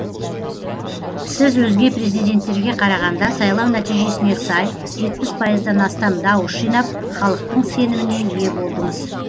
сіз өзге президенттерге қарағанда сайлау нәтижесіне сай жетпіс пайыздан астам дауыс жинап халықтың сеніміне ие болдыңыз